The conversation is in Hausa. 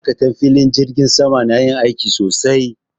Ma'aikatan filin jirgin sama na yin aiki sosai